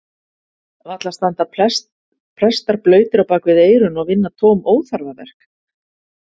Varla standa prestar blautir á bakvið eyrun og vinna tóm óþarfaverk?